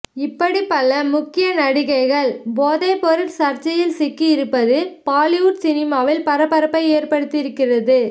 இப்படி பல முக்கிய நடிகைகள் போதைப்பொருள் சர்ச்சையில் சிக்கி இருப்பது பாலிவுட் சினிமாவில் பரபரப்பை ஏற்படுத்தி இருக்கிறது